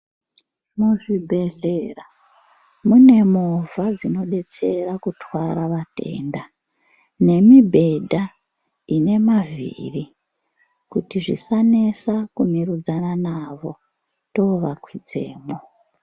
Muzvibhedhlera mune movha dzinodetsera kutwara vatenda ,nemibhedha ine mavhiri kuti zvisanesa kumirudzana navo toova kwidzemo.